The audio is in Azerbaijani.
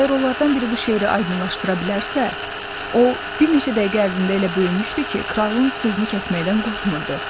Əgər onlardan biri bu şeiri aydınlaşdıra bilərsə, o bir neçə dəqiqə ərzində elə böyümüşdü ki, kralın sözünü kəsməkdən qorxmurdu.